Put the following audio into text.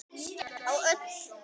Á fjöllum uppi frostið beit.